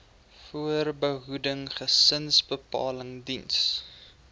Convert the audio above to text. voorbehoeding gesinsbeplanning diens